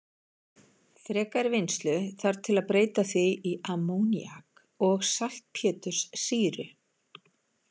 Frekari vinnslu þarf til að breyta því í ammóníak og saltpéturssýru.